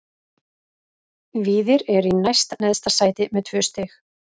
Víðir er í næst neðsta sæti með tvö stig.